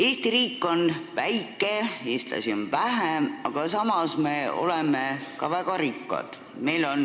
Eesti riik on väike, eestlasi on vähe, aga samas me oleme ka väga rikkad.